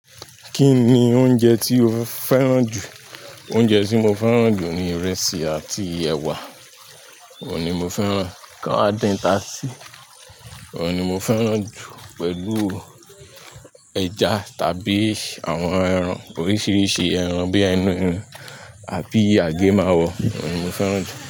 Kí ni oúnjẹ tí o fẹ́ràn jù? Oúnjẹ tí mo fẹ́ràn jù ni ìrẹsì àti ẹ̀wà. Oun ni mo fẹ́ràn. Kan adin tasí. Ó ni mo fẹ́ràn jù pẹ̀lú ẹja tàbí àwọn ẹran oríṣiríṣi ẹran bíi ẹran ẹrin àbí àgé máwọ̀. Ó ni mo fẹ́ràn jù.